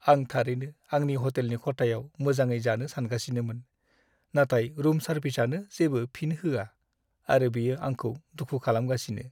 आं थारैनो आंनि हटेलनि खथायाव मोजाङै जानो सानगासिनोमोन, नाथाय रुम सार्भिसआनो जेबो फिन होआ आरो बियो आंखौ दुखु खालामगासिनो।